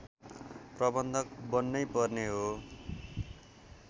प्रबन्धक बन्नै पर्ने हो